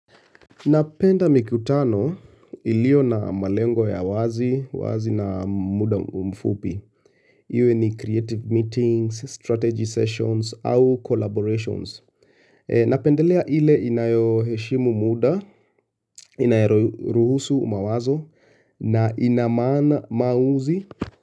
Napenda mikutano iliyo na malengo ya wazi, wazi na muda mfupi. Iwe ni creative meetings, strategy sessions au collaborations. Napendelea ile inayo heshimu muda, inayoruhusu mawazo na ina maana maamuzi.